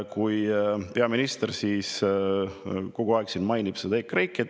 Peaminister mainib siin kogu aeg EKREIKE-t.